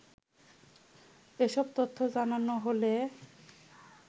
এসব তথ্য জানানো হলে